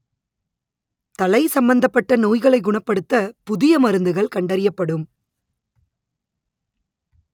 தலை சம்மந்தப்பட்ட நோய்களை குணப்படுத்த புதிய மருந்துகள் கண்டறியப்படும்